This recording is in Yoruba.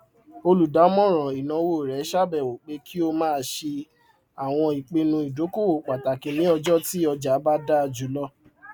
olùdámọràn ináwó rẹ ṣàbẹwò pé kí o máa ṣe àwọn ipinnu ìdókòwò pàtàkì ní ọjọ tí ọjà bá dáa jùlọ